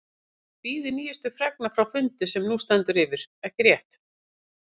Þið bíðið nýjustu fregna frá fundi sem nú stendur yfir, ekki rétt?